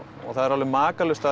það er alveg makalaust að